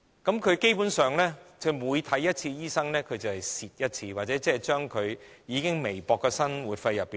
因此，基本上，他們每看一次醫生，便形同扣減他們已很微薄的生活費。